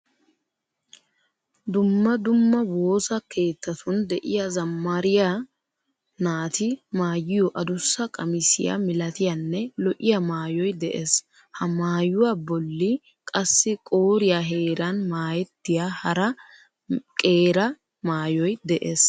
Dumma dumma woosa keettatun de'iya zammariya naati maayiyo adussa qamisiyaa milatiyaanne lo'iya maayoy de"ees. Ha maayuwaa bolli qassi qooriyaa heeran maayettiya hara qeera maayoy de"ees.